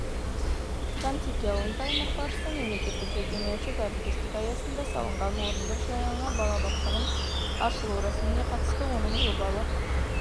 жантеке ауылында аймақ басшысы мемлекеттік-жекеменшік әріптестік аясында салынған орындық жаңа балабақшаның ашылу рәсіміне қатысты оның жобалық